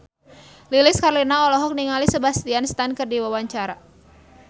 Lilis Karlina olohok ningali Sebastian Stan keur diwawancara